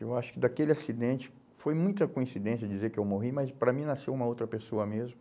Eu acho que daquele acidente, foi muita coincidência dizer que eu morri, mas para mim nasceu uma outra pessoa mesmo.